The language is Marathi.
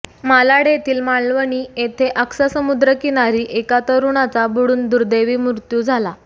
मालाड येथील मालवणी येथे आक्सा समुद्रकिनारी एका तरुणाचा बुडून दुर्दैवी मृत्यू झाला